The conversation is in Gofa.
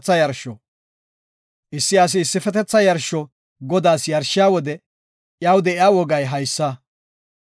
Issi asi issifetetha yarsho Godaas yarshiya wode iyaw de7iya wogay haysa;